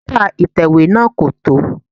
Pépà ìtẹ̀wé náà kò tó.